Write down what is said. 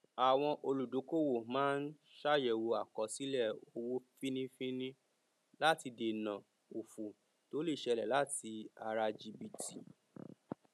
àwọn olùdókòwò máa ń ṣàyẹwò àkọsílẹ owó fínífíní láti dènà òfò tó lè ṣẹlẹ láti ara jìbìtì